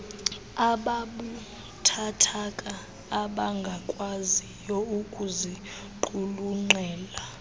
ababuthathaka abangakwaziyo ukuziqulunqela